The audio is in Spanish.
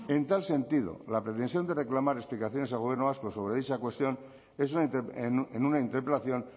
en tal sentido la pretensión de reclamar explicaciones al gobierno vasco sobre dicha cuestión en una interpelación